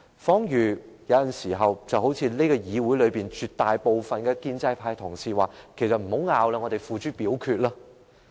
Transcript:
彷如很多時候，議會內絕大部分的建制派同事也會說："不要爭論了，我們付諸表決吧"。